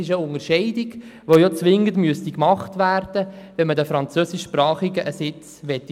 Das wäre eine Entscheidung, die zwingend gemacht werden müsste, wenn man den Französischsprachigen einen Sitz geben möchte.